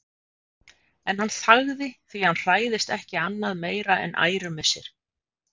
En hann þagði, því hann hræðist ekki annað meira en ærumissi.